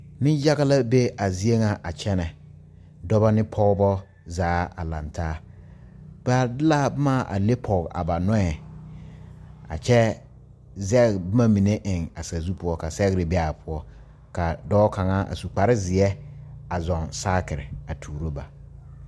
Nenyaga la be a zie ŋa a kyɛne Dɔba ne Pɔgeba zaa lantaa ba de la boma a le pɔge a ba nɔɛ ka kyɛ zege boma mine eŋ a sazu poɔ ka sɛgre be a poɔ ka dɔɔ kaŋa a su kpare seɛ a zɔɔ saakerea tuuro ba